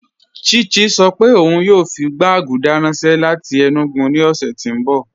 Chichi sọ́ pé óun yóò fi gbàgùdà ranṣẹ láti Enugu ni ọṣẹ̀ ti n bọ̀.